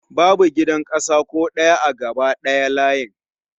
Babu gidan ƙasa ko ɗaya a gaba ɗaya layin